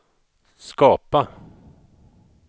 skapa